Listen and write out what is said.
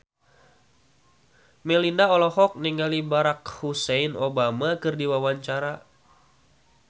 Melinda olohok ningali Barack Hussein Obama keur diwawancara